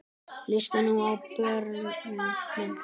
Hlustið nú á, börnin mín.